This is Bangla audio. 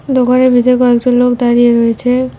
দোকানের ভিতরে কয়েকজন লোক দাঁড়িয়ে রয়েছে।